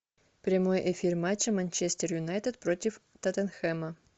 прямой эфир матча манчестер юнайтед против тоттенхэма